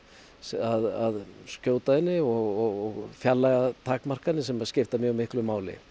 að skjóta henni og fjarlægðartakmarkanir sem skipta mjög miklu máli